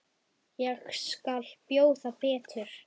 Ég skal bjóða betur.